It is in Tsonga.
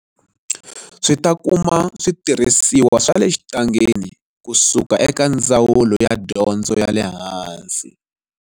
Swi ta kuma switirhisiwa swa le xitangeni kusuka eka Ndzawulo ya Dyondzo ya le Hansi.